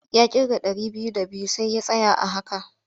Ya ƙirga ɗari biyu d abiyu sai ya tsaya a haka.